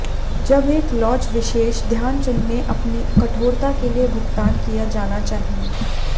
जब एक लॉज विशेष ध्यान चुनने अपनी कठोरता के लिए भुगतान किया जाना चाहिए